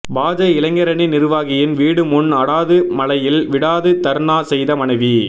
பாஜ இளைஞரணி நிர்வாகியின் வீடு முன் அடாது மழையில் விடாது தர்ணா செய்த மனைவி